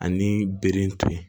Ani bere to yen